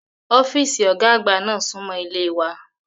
Ọ́fíìsì Ọ̀gá àgbà náà súnmọ́ ilé wa